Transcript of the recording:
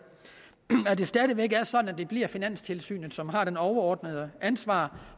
det stadig væk er sådan at det bliver finanstilsynet som har det overordnede ansvar